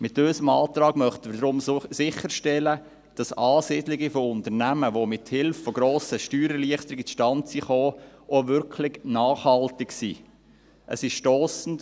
Mit unserem Antrag möchten wir deshalb sicherstellen, dass Ansiedlungen von Unternehmen, welche mit Hilfe von grossen Steuererleichterungen zustande gekommen sind, auch wirklich nachhaltig sind.